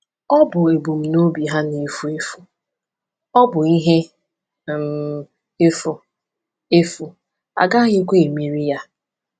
Ọ bụ ebumnobi ha na-efu efu; ọ bụ ihe um efu, efu, a gaghịkwa emeri ya.